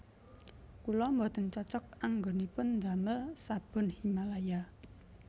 Kula mboten cocok anggonipun ndamel sabun Himalaya